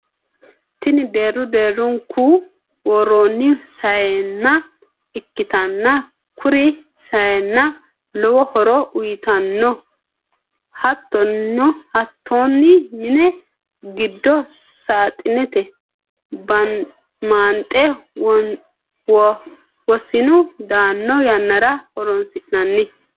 tini deerru deerrunku worroonni sayinna ikkitanna kuri sayinna lowi horo uyitanno. hattonni mini giddo saaxinete maanxe wosinu daanno yannara horoonsi'nanni.